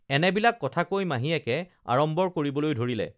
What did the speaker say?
এনেবিলাক কথা কৈ মাহীয়েকে আড়ম্বৰ কৰিবলৈ ধৰিলে